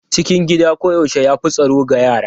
Cikin gida koyaushe ya fi tsaro ga yara.